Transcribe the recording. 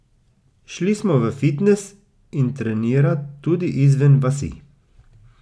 Šli smo v fitnes in trenirat tudi izven vasi.